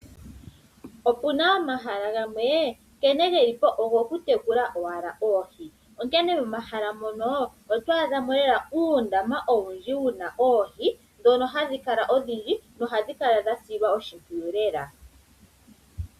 Opuna omahala gamwe, nkene ge li po ogo ku tekula owala oohi. Onkene momahala mono oto adhamo lela uundama owundji wuna oohi, dhono ohadhi kala odhindji, nohadhi kala dha silwa oshimpwiyu lela.